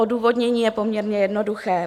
Odůvodnění je poměrně jednoduché.